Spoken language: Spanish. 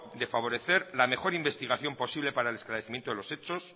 de favorecer la mejor investigación posible para el esclarecimiento de los hechos